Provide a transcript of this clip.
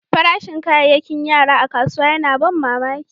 Farashin kayakin yara a kasuwa yana ban mamaki.